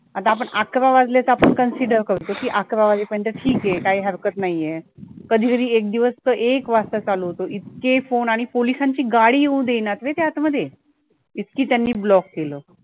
आता आपण अकरा वाजले आपण consider करतो, की अकरा वाजेपर्यंत ठीक आहे काही हरकत नाहीये कधीकधी एक एकदिवस तर एक वाजता चालू होतो, इतके phone आणि पोलिसांची गाडी येऊ देई नात रे ते आतमध्ये इतके त्यांनी block केलं.